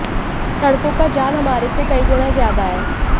सड़कों का जाल हमारे से कई गुणा ज्यादा है